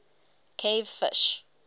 cave fish